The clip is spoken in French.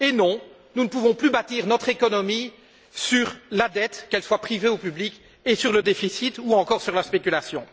Et non, nous ne pouvons plus bâtir notre économie sur la dette, qu'elle soit privée ou publique, et sur le déficit ou encore sur la spéculation.